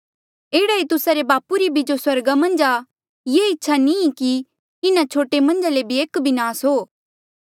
एह्ड़ा ई तुस्सा रे बापू री जो स्वर्गा मन्झ आ ये इच्छा नी ई कि इन्हा छोटे मन्झा ले एक भी नास हो